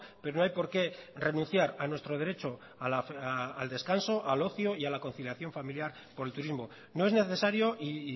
pero no hay por qué renunciar a nuestro derecho al descanso al ocio y a la conciliación familiar por el turismo no es necesario y